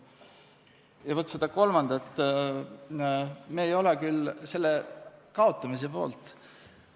Ja vaat selle kolmandana tähtsa teguri kaotamise poolt me küll ei ole.